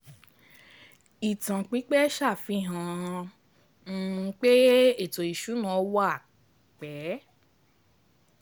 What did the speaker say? Ìtàn pípẹ́ ṣàfihàn um pé ètò ìsúná wà um pẹ́.